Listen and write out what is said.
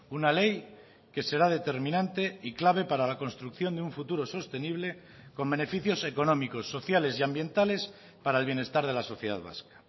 una ley que será determinante y clave para la construcción de un futuro sostenible con beneficios económicos sociales y ambientales para el bienestar de la sociedad vasca